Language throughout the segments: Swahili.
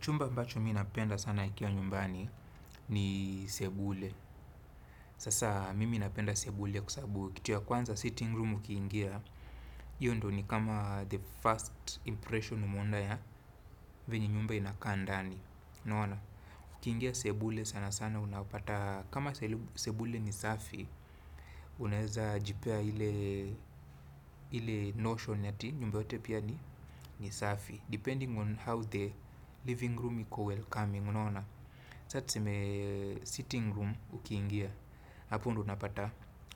Chumba ambacho mi napenda sana nikiwa nyumbani ni sebule. Sasa mimi napenda sebule kwavsabu kituvya kwanza sitting room ukiingia. Hiyo ndo ni kama the first impression umeona ya vyenye nyumba inakaa ndani. Unaona. Ukiingia sebule sana sana unapata kama sebule ni safi. Unaeza jipea ile notion ati nyumba yote pia ni ni safi. Depending on how the living room iko welcoming. Unaona. Saa tuseme sitting room ukiingia. Hapo ndo unapata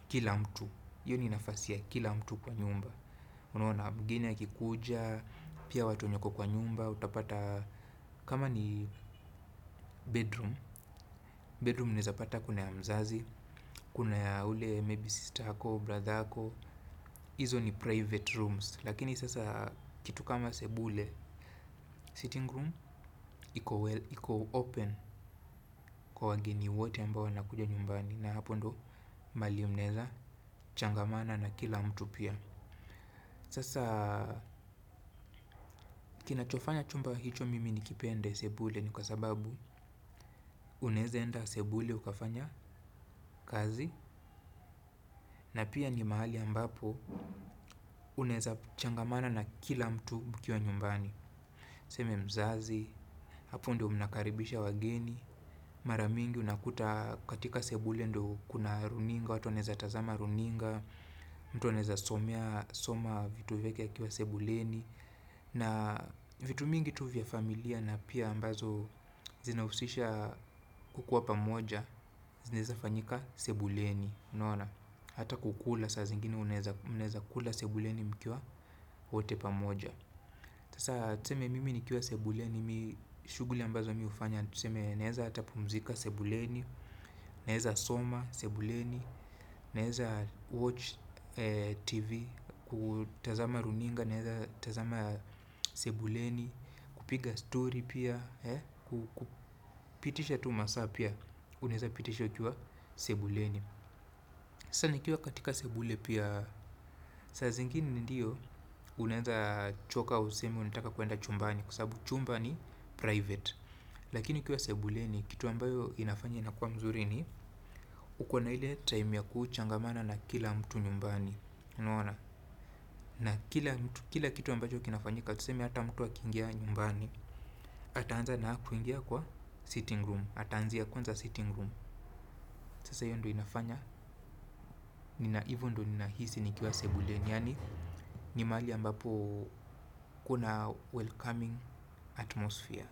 kila mtu. Hiyo ni nafasi ya kila mtu kwa nyumba. Unaona mgeni akikuja, pia watu wenye wako kwa nyumba. Utapata kama ni bedroom. Bedroom unaeza pata kuna ya mzazi, kuna ya ule maybe sister yako, brother ako. Hizo ni private rooms. Lakini sasa kitu kama sebule, sitting room, iko open kwa wageni wote ambao wanakuja nyumbani. Na hapo ndo mahali mnaeza changamana na kila mtu pia. Sasa kinachofanya chumba hicho mimi nikipende sebule. Ni kwa sababu unaeza enda sebule ukafanya kazi. Na pia ni mahali ambapo unaeza changamana na kila mtu ukiwa nyumbani tuseme mzazi, hapo ndo mnakaribisha wageni. Mara mingi unakuta katika sebule ndo kuna runinga. Watu wanaeza tazama runinga. Mtu anaeza soma vitu vyake akiwa sebuleni. Na vitu mingi tu vya familia na pia ambazo zinahusisha kukuwa pamoja. Zinaeza fanyika sebuleni, unaona. Hata kukula saa zingine uneza kula sebuleni mkiwa wote pamoja sasa tuseme mimi nikiwa sebuleni. Shughuli ambazo mi hufanya tuseme naeza hata pumzika sebuleni. Naeza soma sebuleni. Naeza watch TV, kutazama runinga, naeza tazama sebuleni, kupiga story pia, kupitisha tu masaa pia, unaeza pitisha ukiwa sebuleni. Sasa nikiwa katika sebule pia, saa zingine ndiyo unaeza choka useme unataka kuenda chumbani kwa sababu sabu chumba ni private. Lakini ukiwa sebuleni, kitu ambayo inafanya inakua mzuri ni, ukona ile time ya kuchangamana na kila mtu nyumbani. Na kila kitu ambacho kinafanyika tuseme hata mtu akiingia nyumbani ataanza na kuingia kwa sitting room ataanzia kwanza sitting room. Sasa hiyo ndo inafanya nina hivo ndo ninahisi nikiwa sebulen. Yani ni mahali ambapo kuna welcoming atmosphere.